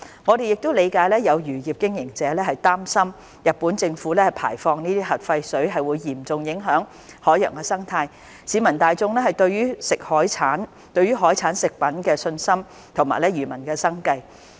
我們亦理解有漁業經營者擔心日本政府排放核廢水會嚴重影響海洋生態、市民大眾對海產食品的信心及漁民的生計。